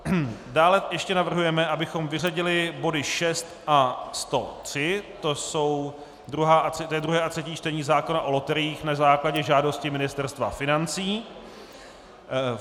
Dále ještě navrhujeme, abychom vyřadili bod 6 a 103, to je druhé a třetí čtení zákona o loteriích, na základě žádosti Ministerstva financí.